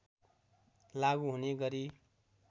लागू हुने गरी